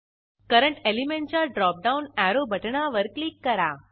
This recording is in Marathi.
करंट एलिमेंटच्या ड्रॉप डाऊन अॅरो बटणावर क्लिक करा